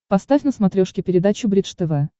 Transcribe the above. поставь на смотрешке передачу бридж тв